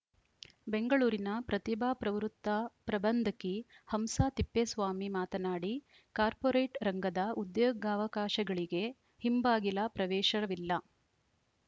ಬೆಂಗಳೂರಿನ ಪ್ರತಿಭಾ ಪ್ರವೃತ್ತ ಪ್ರಬಂಧಕಿ ಹಂಸಾ ತಿಪ್ಪೇಸ್ವಾಮಿ ಮಾತನಾಡಿ ಕಾರ್ಪೋರೇಟ್‌ ರಂಗದ ಉದ್ಯೋಗಾವಕಾಶಗಳಿಗೆ ಹಿಂಬಾಗಿಲ ಪ್ರವೇಶವಿಲ್ಲ